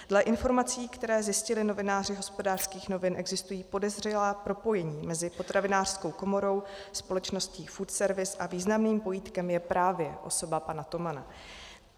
Dle informací, které zjistili novináři Hospodářských novin, existují podezřelá propojení mezi Potravinářskou komorou, společností Food Service a významným pojítkem je právě osoba pana Tomana.